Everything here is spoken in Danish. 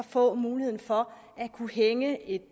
få muligheden for at kunne hænge et